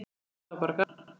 Þetta var bara gaman.